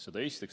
Seda esiteks.